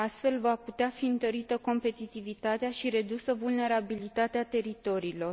Astfel, va putea fi întărită competitivitatea și redusă vulnerabilitatea teritoriilor.